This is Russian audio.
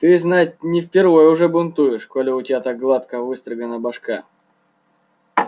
ты знать не впервой уже бунтуешь коли у тебя так гладко выстрогана башка